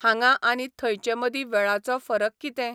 हांंगा आनी थंयचेमदीं वेळाचो फरक कितें?